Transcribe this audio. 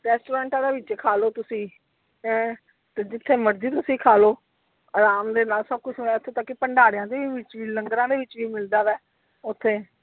Restaurants ਦਾ ਵਿਚ ਖਾਲੋ ਤੁਸੀਂ, ਹੈਂ ਤੇ ਜਿਥੇ ਮਰਜੀ ਤੁਸੀਂ ਖਲੋ ਆਰਾਮ ਦੇ ਨਾਲ ਸਭ ਕੁਝ ਇਥੇ ਤੱਕ ਕਿ ਭੰਡਾਰਿਆਂ ਦੇ ਵਿਚ ਵੀ ਲੰਗਰ ਦੇ ਵਿਚ ਵੀ ਮਿਲਦਾ ਵਾ ਓਥੇ।